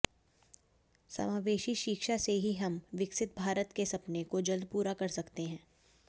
समावेशी शिक्षा से ही हम विकसित भारत के सपने को जल्द पूरा कर सकते हैं